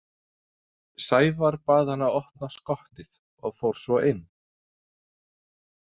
Sævar bað hann að opna skottið og fór svo inn.